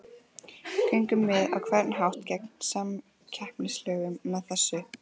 Göngum við á einhvern hátt gegn samkeppnislögum með þessu?